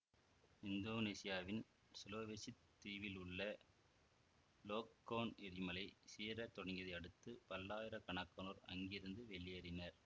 இந்தோனேசியாவின் சுலாவெசித் தீவில் உள்ள லோக்கோன் எரிமலை சீறத் தொடங்கியதை அடுத்து பல்லாயிர கணக்கானோர் அங்கிருந்து வெளியேறினர்